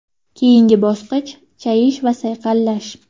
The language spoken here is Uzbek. Keyingi bosqich chayish va sayqallash.